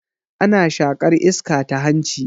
Ana shaƙar iska ta hanci